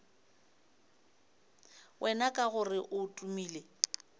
wena ka gore o tumile